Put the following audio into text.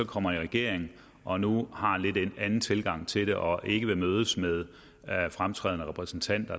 kommer i regering og nu har en lidt anden tilgang til det og ikke ville mødes med fremtrædende repræsentanter